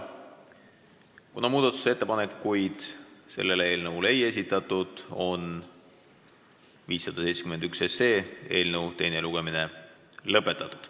Kuna muudatusettepanekuid ei esitatud, on eelnõu 571 teine lugemine lõpetatud.